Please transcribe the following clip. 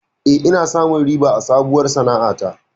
Eh, ina samun riba a sabuwar sana'a ta.